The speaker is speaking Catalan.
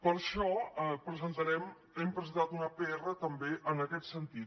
per això presentarem hem presentat una pr també en aquest sentit